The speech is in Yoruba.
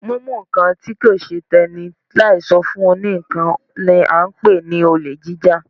Mímú nǹkan tí kò ṣe tẹ́nì láì sọ fún òní ńkan ni a ń pè ní olè jíjà.